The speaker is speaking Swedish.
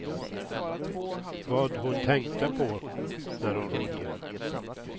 Vad hon tänkte på när hon rodde.